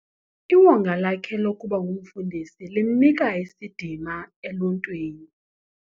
Iwonga lakhe lokuba ngumfundisi limnika isidima eluntwini.